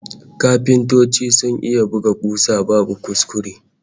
Kafintoci sun iya buga kusa babu kuskure!